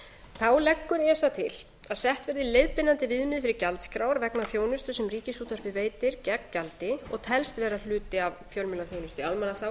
þá leggur esa til að sett verði leiðbeinandi miðað fyrir gjaldskrár vegna þjónustu sem ríkisútvarpið veitir gegn gjaldi og telst vera hluti af fjölmiðlaþjónustu í almannaþágu